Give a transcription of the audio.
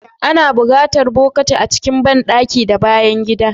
Ana buƙatar bokati a cikin banɗaki da bayan gida.